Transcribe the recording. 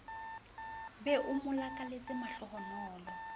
be o mo lakaletse mahlohonolo